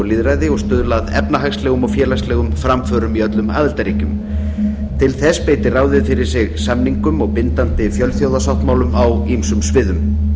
lýðræði og stuðla að efnahagslegum og félagslegum framförum í öllum aðildarríkjum til þess beitir ráðið fyrir sig samningum og bindandi fjölþjóðasáttmálum á ýmsum sviðum